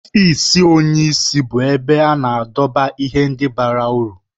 Ọfịs onyeisi bụ ebe a na-edobe ihe ndị bara uru.